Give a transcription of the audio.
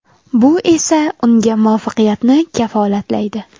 Bu esa unga muvaffaqiyatni kafolatlaydi.